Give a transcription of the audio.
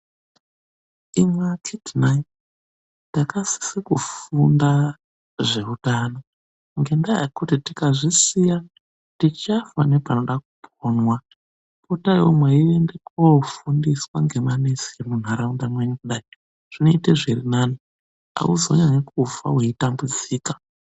Imwi akiti nhai, ndakasise kufunda zvehutano ngendaa yekuti tikazvisiya tichafa nepanoda kuponwa. Potaiwo mweienda kundofundiswa nemanesi emuntaraunda menyu kudai, zvinoita zvirinane, hauzonyanyi kufa weitambudzika.